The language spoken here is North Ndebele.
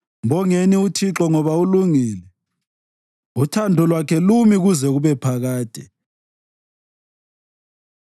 Mbongeni uThixo ngoba ulungile; uthando lwakhe lumi kuze kube phakade.